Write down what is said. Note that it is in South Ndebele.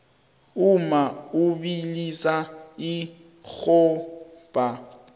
umma ubilisa irhabha